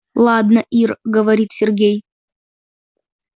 ладно ир говорит сергей